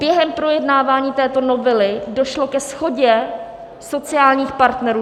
Během projednávání této novely došlo ke shodě sociálních partnerů.